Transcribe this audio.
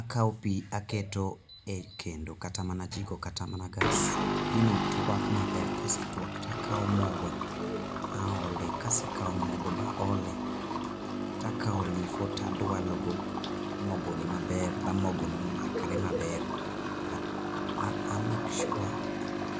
Akawo pi aketo ekendo kata mana jiko kata mana gas. Pino tuak maber, ka osetuak to akawo mogo aole kase kawo mogo baole to akawo olifo to adualo go mogoni maber ma mogoni makre maber, a make sure